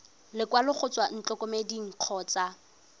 lekwalo go tswa ntlokemeding kgotsa